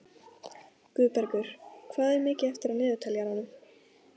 Guðbergur, hvað er mikið eftir af niðurteljaranum?